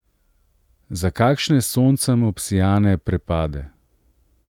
Za kakšne s soncem obsijane prepade?